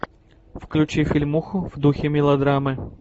включи фильмуху в духе мелодрамы